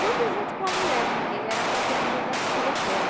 Tudo junto com a mulher, porque era a companhia da filha dela.